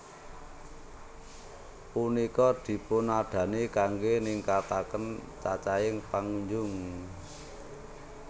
Punika dipunadani kanggé ningkataken cacahing pangunjung